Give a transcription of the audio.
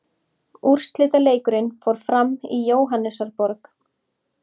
Úrslitaleikurinn fór fram í Jóhannesarborg.